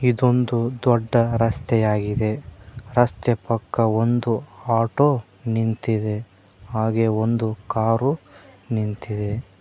ಇದೊಂದು ದೊಡ್ಡ ರಸ್ತೆಯಾಗಿದೆ ರಸ್ತೆ ಪಕ್ಕ ಒಂದು ಆಟೋ ನಿಂತಿದೆ ಹಾಗೆ ಒಂದು ಕಾರು ನಿಂತಿದೆ.